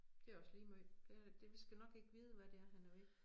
Det også lige måj det er det vi skal nok ikke vide hvad det er han er ved